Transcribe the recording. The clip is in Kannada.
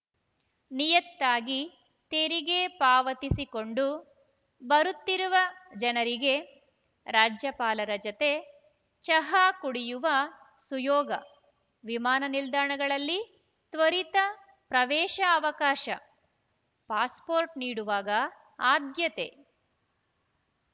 ನಿಯತ್ತಾಗಿ ತೆರಿಗೆ ಪಾವತಿಸಿಕೊಂಡು ಬರುತ್ತಿರುವ ಜನರಿಗೆ ರಾಜ್ಯಪಾಲರ ಜತೆ ಚಹಾ ಕುಡಿಯುವ ಸುಯೋಗ ವಿಮಾನ ನಿಲ್ದಾಣಗಳಲ್ಲಿ ತ್ವರಿತ ಪ್ರವೇಶ ಅವಕಾಶ ಪಾಸ್‌ಪೋರ್ಟ್‌ ನೀಡುವಾಗ ಆದ್ಯತೆ